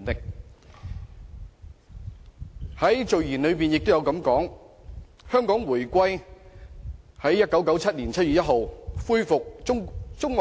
《基本法》的序言也提到，香港回歸，即中